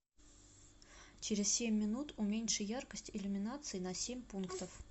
через семь минут уменьши яркость иллюминации на семь пунктов